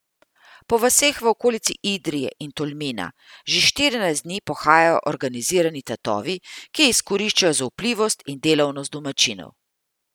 Po vaseh v okolici Idrije in Tolmina že štirinajst dni pohajajo organizirani tatovi, ki izkoriščajo zaupljivost in delavnost domačinov.